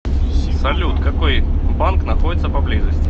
салют какой банк находится поблизости